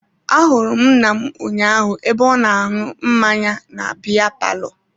Ahụrụ m nna m ụnyaahụ ebe ọ na-aṅụ mmanya na biya palọ.